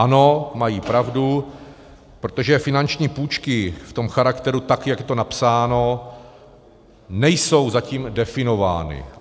Ano, mají pravdu, protože finanční půjčky v tom charakteru, tak jak je to napsáno, nejsou zatím definovány.